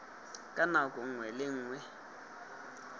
ka nako nngwe le nngwe